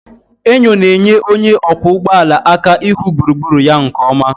Enyo na-enyere onye ọkwọ ụgbọ ala aka ịhụ gburugburu ya nke ọma.